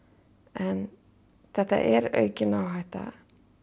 en þetta er aukin áhætta